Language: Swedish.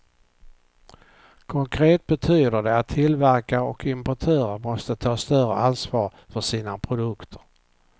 Konkret betyder det att tillverkare och importörer måste ta större ansvar för sina produkter.